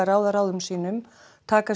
ráða ráðum sínum taka